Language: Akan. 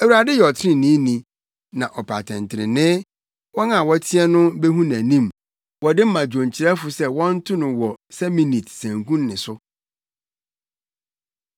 Awurade yɛ ɔtreneeni, na ɔpɛ atɛntrenee; wɔn a wɔteɛ no behu nʼanim. Wɔde ma dwonkyerɛfo se wɔnto no wɔ “Seminit” sanku nne so.